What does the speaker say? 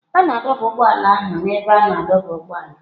A na-adọba ụgbọ ala ndị ahụ na ebe a na-adọba ụgbọala.